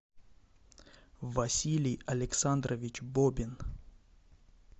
василий александрович бобин